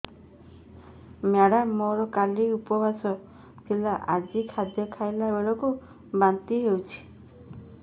madam ମୋର କାଲି ଉପବାସ ଥିଲା ଆଜି ଖାଦ୍ୟ ଖାଇଲା ବେଳକୁ ବାନ୍ତି ହେଊଛି